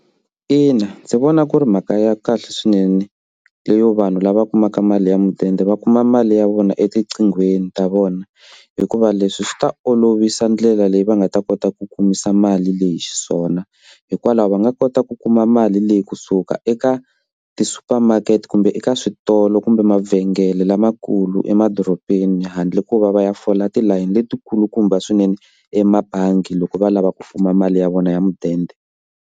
Ina ndzi vona ku ri mhaka ya kahle swinene leyo vanhu lava kumaka mali ya mudende va kuma mali ya vona etiqinghweni ta vona hikuva leswi swi ta olovisa ndlela leyi va nga ta kota ku kumisa mali leyi xiswona hikwalaho va nga kota ku kuma mali leyi kusuka eka ti-supermakert-e kumbe eka switolo kumbe mavhengele lamakulu emadorobeni handle ko va va ya fola tilayini letikulukumba swinene emabangi loko va lava ku fuma mali ya vona ya mudende.